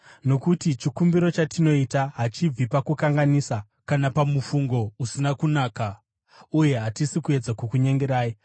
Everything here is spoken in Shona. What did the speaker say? Nokuti chikumbiro chatinoita hachibvi pakukanganisa kana pamufungo usina kunaka, uye hatisi kuedza kukunyengerai.